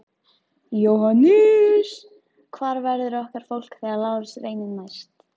JÓHANNES: Hvar verður okkar fólk þegar Lárus reynir næst?